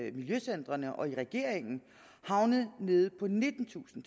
i miljøcentrene og i regeringen havnet nede på nittentusind